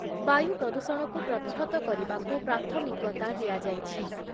ବାୟୁ ପ୍ରଦୂଷଣକୁ ପ୍ରତିହତ କରିବାକୁ ପ୍ରାଥମିକତା ଦିଆଯାଇଛି ।